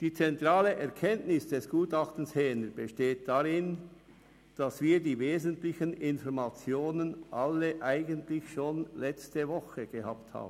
Die zentrale Erkenntnis des Gutachtens Häner besteht darin, dass wir eigentlich schon letzte Woche die wesentlichen Informationen gehabt haben.